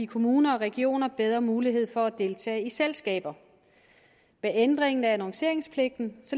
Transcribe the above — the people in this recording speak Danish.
kommuner og regioner bedre muligheder for at deltage i selskaber med ændringen af annonceringspligten